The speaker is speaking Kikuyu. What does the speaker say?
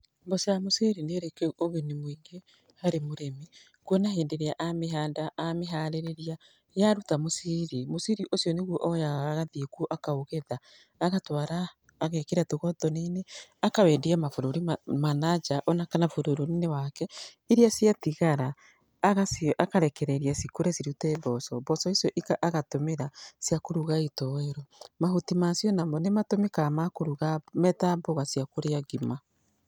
Mboco ya mũciri nĩrĩ ũguni mũingĩ harĩ mũrĩmi, kuona hĩndĩ ĩrĩa amĩhanda amĩharĩrĩria, yaruta mũciri mũciri ũcio nĩguo oyaga agathiĩ kũu akaũgetha, agatwara agekĩra tũgotoni-inĩ akawendia mabũrũri ma nanja ona kana bũrũri-inĩ wake. Iria ciatigara akarekereria cikũre cirute mboco, mboco icio agatũmĩra cia kũruga gĩtowero. Mahuti macio namo nĩ matũmĩkaga ma kũruga, me ta mboga cia kũrĩa ngima.